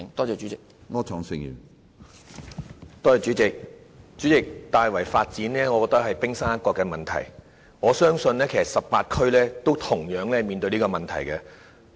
主席，我認為大圍的發展只是冰山一角的問題，我相信18區均面對同樣問題。